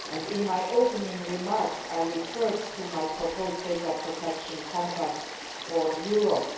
In my opening remarks I referred to my proposed data protection compact for Europe.